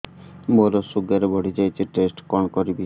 ମୋର ଶୁଗାର ବଢିଯାଇଛି ଟେଷ୍ଟ କଣ କରିବି